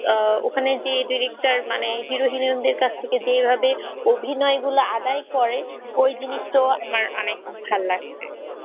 আহ ওখানে যে director মানে hero heroine দের কাছ থেকে যেভাবে অভিনয় গুলো আদায় করে ওই জিনিস তো আমার অনেক ভাল লাগছে।